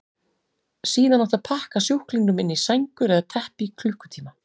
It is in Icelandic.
Síðan átti að pakka sjúklingunum inn í sængur eða teppi í klukkutíma.